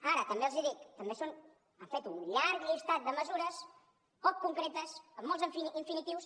ara també els hi dic també han fet un llistat de mesures poc concretes amb molts infinitius